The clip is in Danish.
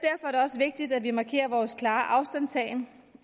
er det også vigtigt at vi markerer vores klare afstandtagen